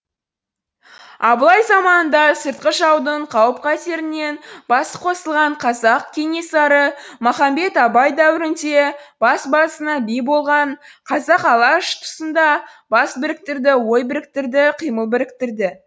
абылай заманында сыртқы жаудың қауіп қатерінен басы қосылған қазақ кенесары махамбет абай дәуірінде бас басына би болған қазақ алаш тұсында бас біріктірді ой біріктірді қимыл біріктірді